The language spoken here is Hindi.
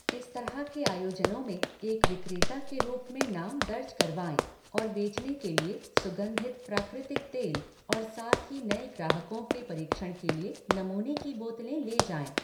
इस तरह के आयोजनों में एक विक्रेता के रूप में नाम दर्ज करवाएँ और बेचने के लिए सुगन्धित प्राकृतिक तेल, और साथ ही नए ग्राहकों के परीक्षण के लिए नमूने की बोतलें ले जाएँ।